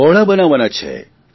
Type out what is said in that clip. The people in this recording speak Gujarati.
બહોળા બનાવવાના છે